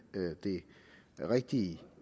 det rigtige